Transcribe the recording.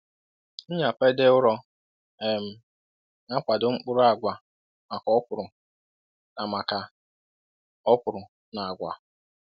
Nnyapade ụrọ um na-akwado mkpụrụ agwa maka okwuru na maka okwuru na agwa.”